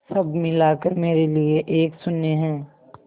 सब मिलाकर मेरे लिए एक शून्य है